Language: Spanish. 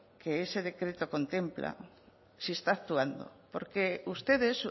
que ese decreto contempla si está actuando porque ustedes